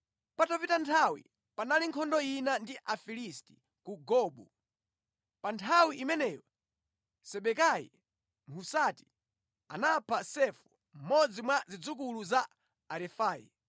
Patapita nthawi, panali nkhondo ina ndi Afilisti ku Gobu. Pa nthawi imeneyo Sibekai Mhusati anapha Safu, mmodzi mwa zidzukulu za Arefai.